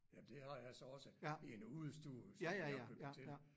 Jamen det har jeg så også i en udestue som jeg har bygget til